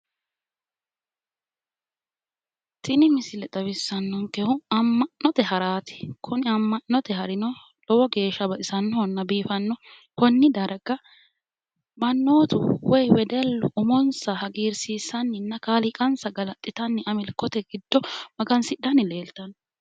tini misile xawissannohehu amma'note haraati, kunni amma'note hari lowo geeshsha baxisannoho biifannoho konni darga mannotu woy wedellu umonsa hagiirsiisanninna kaaliiqansa galaxitanni amilkote giddo magansidhanni leeltanno.